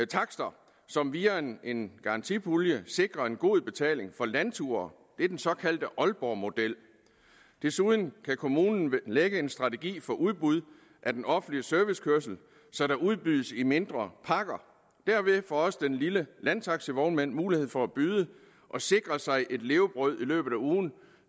takster som via en garantipulje sikrer en god betaling for landture det er den såkaldte aalborgmodel desuden kan kommunen lægge en strategi for udbud af den offentlige servicekørsel så der udbydes i mindre pakker dermed får også den lille landtaxivognmand mulighed for at byde og sikre sig et levebrød i løbet af ugen